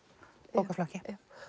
bókaflokki